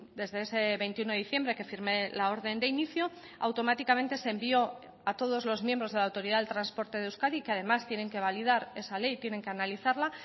desde ese veintiuno de diciembre que firmé la orden de inicio automáticamente se envió a todos los miembros de la autoridad del transporte de euskadi que además tienen que validar esa ley tienen que analizarla